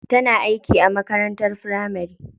Tana aiki a makarantun firamari.